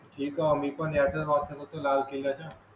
ठीक आहे मी कोण याचा वापर होतो लाल किल्ल्या.